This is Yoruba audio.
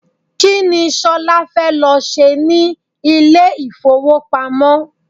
Kini Ṣolá fẹ́ lọ ṣe ní ilé ifowopamo?